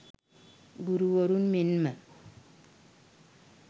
ගුරුවරුන් මෙන්ම